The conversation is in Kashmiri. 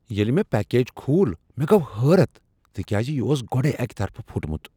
ییٚلہ مےٚ پیکج کھول مےٚ گوٚو حیرت تکیازِ یہ اوس گۄڈے اکہ طرفہٕ پھُٹمت۔